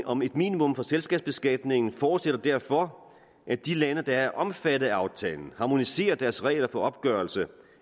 om et minimum for selskabsbeskatningen forudsætter derfor at de lande der er omfattet af aftalen harmoniserer deres regler for opgørelse